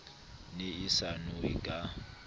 ne e sa nowe ka